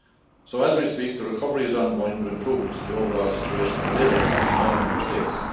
So as we speak, the recovery is ongoing, with improvements in the overall situation in the labour market in all Member States.